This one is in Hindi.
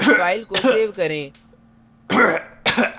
file को सेव करें